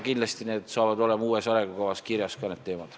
Kindlasti on need teemad kirjas ka uues arengukavas.